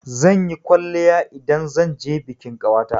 Zan yi kwalliya idan zan je bikin ƙawata.